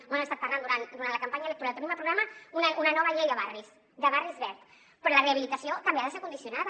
ho hem estat parlant durant la campanya electoral tenim al programa una nova llei de barris de barris verds però la rehabilitació també ha de ser condicionada